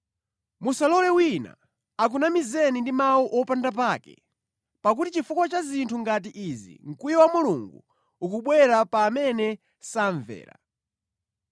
Musalole wina akunamizeni ndi mawu opanda pake, pakuti chifukwa cha zinthu ngati izi mkwiyo wa Mulungu ukubwera pa amene samvera.